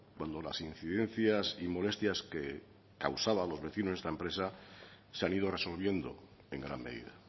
cuando las incidencias y molestias que causaba a los vecinos esta empresa se han ido resolviendo en gran medida